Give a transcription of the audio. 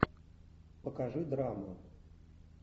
покажи драму